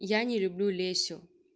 я не люблю лесю